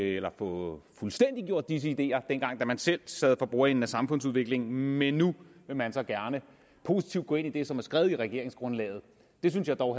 eller få fuldstændiggjort disse ideer dengang man selv sad for bordenden af samfundsudviklingen men nu vil man så gerne positivt gå ind i det som er skrevet i regeringsgrundlaget det synes jeg dog